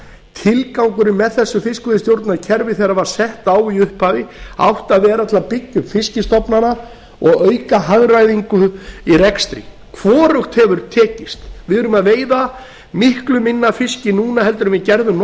tilgangurinn með þessu fiskveiðistjórnarkerfi þegar það var sett á í upphafi átti að vera til að byggja upp fiskstofnana og auka hagræðingu í rekstri hvorugt hefur tekist við erum að veiða miklu minna minna af fiski núna en við gerðum